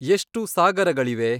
ಎಷ್ಟು ಸಾಗರಗಳಿವೆ